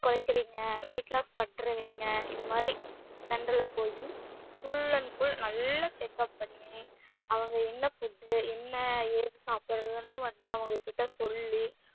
கொறைக்கிறீங்க weight loss பன்றுவிங்க இதுமாறி center ல போய் full and full நல்லா check up பண்ணி அவங்க என்ன food என்ன ஏது சாப்புட்றதுன்னு வந்து அவங்கக்கிட்ட சொல்லி